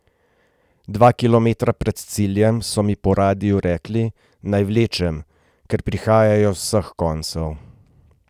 Dva kilometra pred ciljem so mi po radiu rekli, naj vlečem, ker prihajajo z vseh koncev.